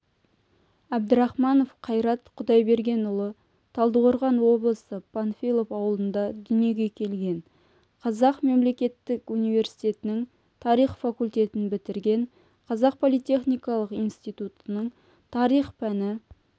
әбдрахманов қайрат құдайбергенұлы талдықорған облысы панфилов ауылында дүниеге келген қазақ мемлекеттік университетінің тарих факультетін бітірген қазақ политехникалық институтының тарих пәні